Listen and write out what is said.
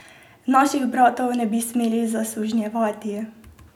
Naših bratov ne bi smeli zasužnjevati!